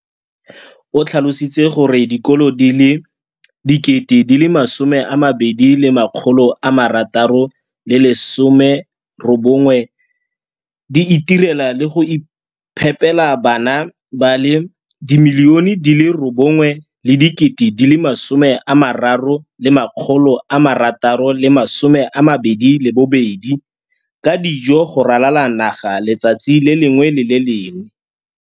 O tlhalositse gore dikolo di le 20 619 di itirela le go iphepela barutwana ba le 9 032 622 ka dijo go ralala naga letsatsi le lengwe le le lengwe.